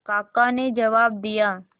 काका ने जवाब दिया